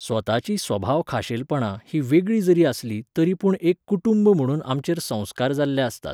स्वताची सभाव खाशेलपणां हीं वेगळीं जरी आसलीं तरीपूण एक कुटूंब म्हणून आमचेर संस्कार जाल्ले आसतात